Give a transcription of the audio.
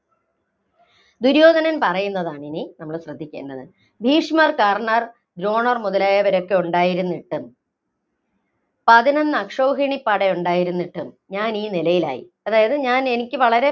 ദുര്യോധനൻ പറയുന്നതാണിനി നമ്മള്‍ ശ്രദ്ധിക്കേണ്ടത്. ഭീഷ്മർ, കർണർ, ദ്രോണര്‍ മുതലായവരൊക്കെ ഉണ്ടായിരുന്നിട്ടും, പതിനൊന്ന് അക്ഷൗഹിണിപട ഉണ്ടായിരുന്നിട്ടും, ഞാനീ നിലയിലായി. അതായത് ഞാന്‍ എനിക്ക് വളരെ